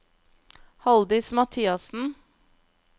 Haldis Mathiassen